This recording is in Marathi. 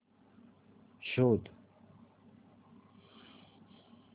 शोध